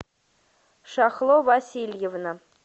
шахло васильевна